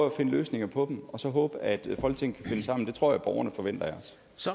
at finde løsninger på dem og så håbe at folketinget kan finde sammen det tror jeg at borgerne forventer